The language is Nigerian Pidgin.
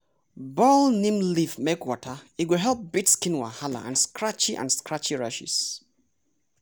boil neem leaf make water e go help beat skin wahala and scratchy and scratchy rashes.